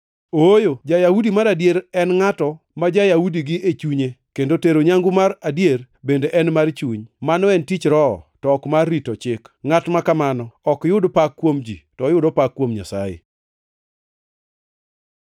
Ooyo, ja-Yahudi mar adier en ngʼato ma ja-Yahudi gi e chunye kendo tero nyangu mar adier bende en mar chuny, mano en tich Roho to ok mar rito Chik. Ngʼat ma kamano ok yud pak kuom ji, to oyudo pak kuom Nyasaye.